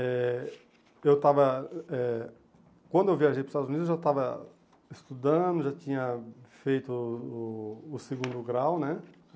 Eh eu estava eh... Quando eu viajei para os Estados Unidos, eu já estava estudando, já tinha feito o o o segundo grau, né?